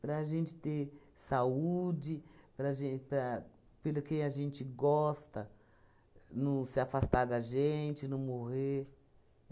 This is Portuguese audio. para a gente ter saúde, para gen para pelo quem a gente gosta não se afastar da gente, não morrer.